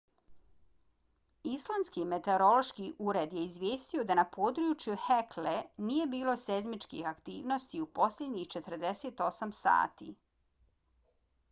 islandski meteorološki ured je izvijestio i da na području hekle nije bilo seizmičkih aktivnosti u posljednjih 48 sati